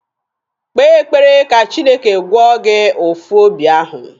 Kpee ekpere ka Chineke gwọọ gị ụ̀fụ́ obi ahụ!